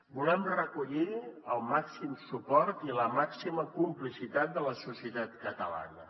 volem recollir el màxim suport i la màxima complicitat de la societat catalana